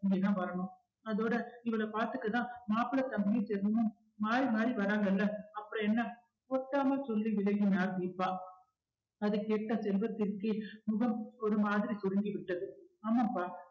இங்கதா வரணும் அதோட இவள பார்த்துக்கத்தான் மாப்பிளை தம்பியும் தினமும் மாறி மாறி வர்றாங்கல்ல அப்புறம் என்ன கொத்தாம சொல்லி விலகினார் தீபா அது கேட்ட செல்வத்திற்கு முகம் ஒரு மாதிரி சுருங்கி விட்டது ஆமாம்ப்பா